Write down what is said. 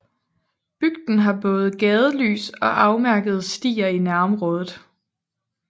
Bygden har både gadelys og afmærkede stier i nærområdet